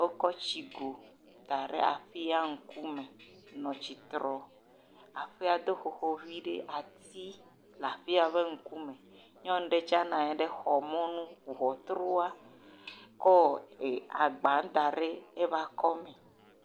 Wokɔ tsi go da ɖe aƒea me nɔ tsi trɔ, aƒea do xoxo vi ɖe, ati le aƒea ŋkume, nyɔnu ɖe tsɛ nɔ anyi ɖe xɔ mɔnu, ŋɔtrua, kɔ agba da ɖe eƒe akɔme.